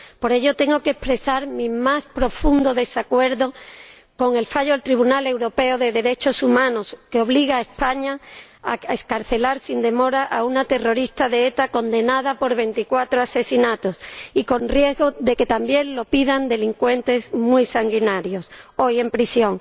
Por ello tengo que expresar mi más profundo desacuerdo con el fallo del Tribunal Europeo de Derechos Humanos, que obliga a España a excarcelar sin demora a una terrorista de ETA condenada por 24 asesinatos y conlleva el riesgo de que pidan lo mismo delincuentes muy sanguinarios hoy en prisión.